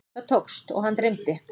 Það tókst og hann dreymdi.